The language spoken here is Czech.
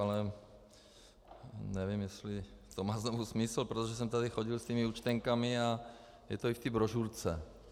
Ale nevím, jestli to má znovu smysl, protože jsem tady chodil s těmi účtenkami a je to i v té brožurce.